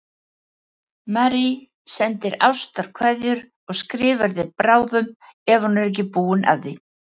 Marie sendir ástarkveðjur og skrifar þér bráðum ef hún er ekki búin að því.